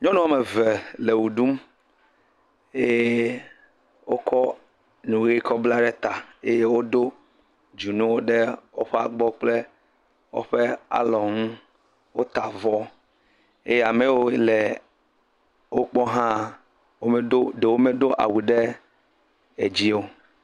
Nyɔnuwo ame eve le ɣeɖum eye wokɔ nu ɣi kɔ bla ɖe ta ame aɖewo do dzonu ɖe woƒe abɔ kple woƒe alɔnu wota avɔ eye ame yiwo le wogbɔ ha ɖewo medo awu ɖe dzi o